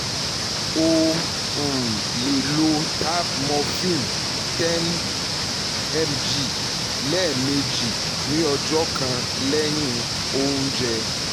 ó um lè lo tab morphine 10 mg lẹ́ẹ̀mejì ní ọjọ́ kan lẹ́yìn oúnjẹ